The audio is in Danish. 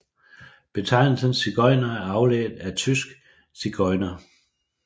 Betegnelsen sigøjner er afledt af tysk zigeuner